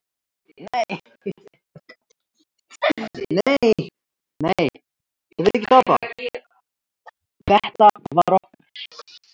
Þetta var okkar.